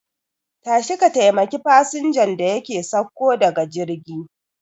Tashi ka taimaki fasinjan da yake sauko daga jirgi